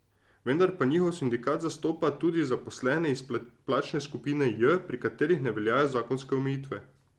Vendar pa njihov sindikat zastopa tudi zaposlene iz plačne skupine J, pri katerih ne veljajo zakonske omejitve.